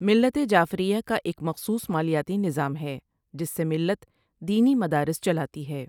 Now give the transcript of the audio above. ملت جعفریہ کا ایک مخصوص مالیاتی نظام ہے جس سے ملت دینی مدارس چلاتی ہے ۔